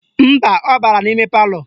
Mba, ọ bara n'ime palọ